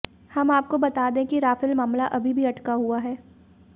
हम आपको बता दें कि राफेल मामला अभी अटका हुआ है